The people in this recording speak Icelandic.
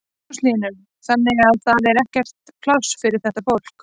Magnús Hlynur: Þannig að það er ekkert pláss fyrir þetta fólk?